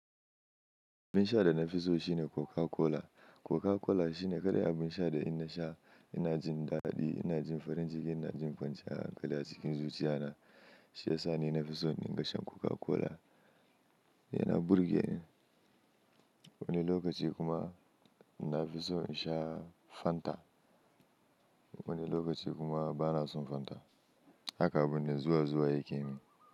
Abin sha da na fi so shine Coca Cola. Coca Cola shine kaɗai abin sha da ina sha ina jin daɗi, ina jin farin ciki, ina jin kwanciyan hankali a cikin zuciya na. Shi ya sa ni na fi so in dinga sha Coca Cola, yana burge ni. Wani lokaci kuma na fi so in sha Fanta. Wani lokaci kuma ba na so Fanta. Haka abune zuwa zuwa yake yi.